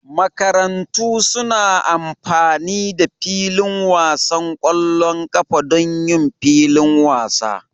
makarantu suna amfani da filin wasan ƙwallon ƙafa don yin filin wasa